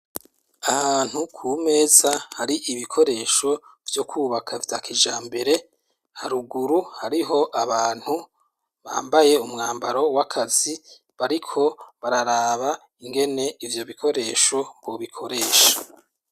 Ahantu ku meza hari ibikoresho byo kubaka vyakijambere, haruguru hariho abantu bambaye umwambaro w'akazi bariko bararaba ingene ivyo bikoresho bobikoresha.